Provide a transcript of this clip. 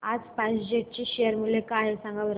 आज SpiceJet चे share मूल्य काय आहे सांगा बरं